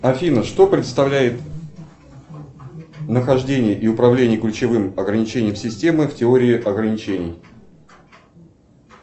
афина что представляет нахождение и управление ключевым ограничением системы в теории ограничений